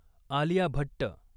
Alia Bhatt